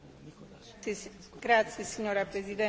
Uvedomme si, že hovoríme o kríze.